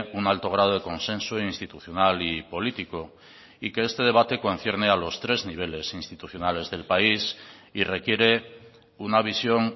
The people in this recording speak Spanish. un alto grado de consenso institucional y político y que este debate concierne a los tres niveles institucionales del país y requiere una visión